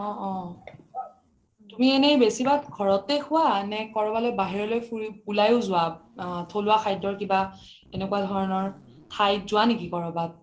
অহ অহ তুমি এনে বেচি ভাগ ঘৰতে খুৱা নে কৰবালৈ বাহিৰলৈ ফুৰি‍ উলাইও আ থলুৱা খাদ্যৰ কিবা এনেকুৱা ধৰণৰ ঠাইত যোৱা নকি ক'ৰবাত ?